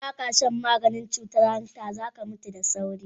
Idan ba ka shan maganin cutar hanta, za ka mutu da sauri.